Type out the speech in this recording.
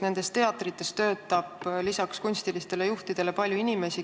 Nendes teatrites töötab lisaks kunstilistele juhtidele palju inimesi.